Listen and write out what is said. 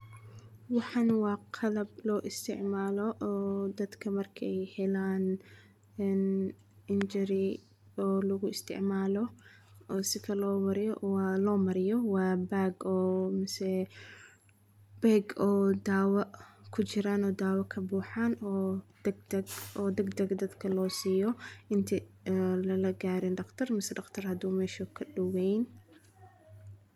Waxan waa qalab loo isticmalo oo dadka markeey helaan injury oo laguisitcmalo oo sika loo mariyo waa loomariyo waa bag oo mise beg oo daawo kujiraan oo daawo kabuxaan oo dagdag dadka loosiyo inta lalagaari daqtar mise daqtar haduu mesha kadoweyn.